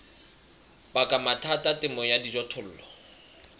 baka mathata temong ya dijothollo